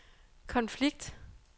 konflikt